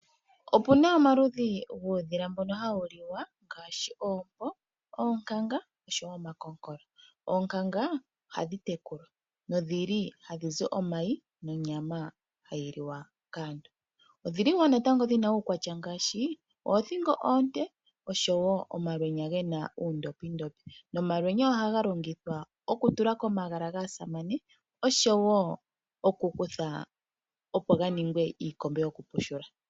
Opu na omaludhi guudhila mbono hawu liwa ngaashi ompo, oonkankanga oshowo omakonkola. Oonkankanga ohadhi tekulwa nodhili gadhi zi omayi nonyama hayi liwa kaantu. Odhili wo odhi na uukwatya ngaashi oothingo oonde noshowo omalwenya gena oondothindothi nomalwenya ohaga longithwa okutula komagala gaasamane oshowo okukuthwa opo ga ninge iikombe yokupushula.